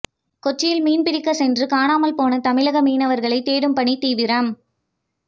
கொச்சியில் மீன்பிடிக்கச் சென்று காணாமல் போன தமிழக மீனவர்களை தேடும் பணி தீவிரம்